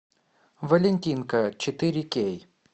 валентинка четыре кей